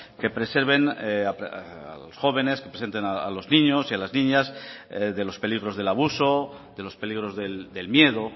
que preserven a los jóvenes que preserven a los niños y a las niñas de los peligros del abuso de los peligros del miedo